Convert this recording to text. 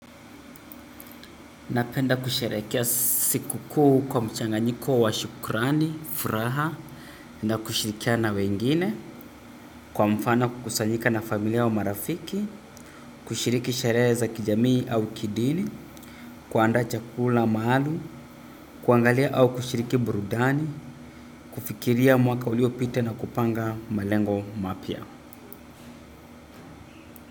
Napenda kusherekea siku kuu kwa mchanganyiko wa shukrani, furaha, na kushirikiana na wengine, kwa mfano kukusanyika na familia au marafiki kushiriki sherehe za kijamii au kidini kuandaa chakula maalum kuangalia au kushiriki burudani kufikiria mwaka uliopita na kupanga malengo mapya.